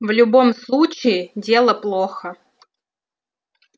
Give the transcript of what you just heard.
в любом случае дело плохо